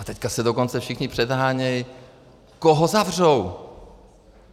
A teď se dokonce všichni předhánějí, koho zavřou!